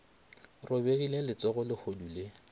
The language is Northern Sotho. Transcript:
robegile le letsogo lehodu le